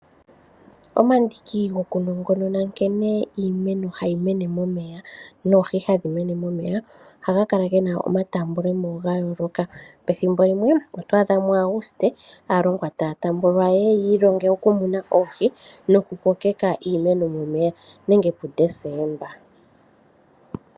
Omandiki gokunongonona nkene iimeno hayi mene momeya noohi hadhi mene momeya, ohaga kala ge na omatambulemo ga yooloka. Pethimbo limwe oto adha muAguste aalongwa taya tambulwa ye ye yiilonge okumuna oohi nokukokeka iimeno momeya nenge puDesemba.